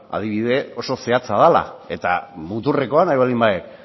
adibide oso zehatza dela eta muturrekoa nahi baldin baduzu